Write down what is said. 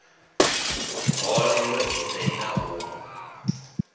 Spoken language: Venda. boḓelo ḓi re na ṱhungu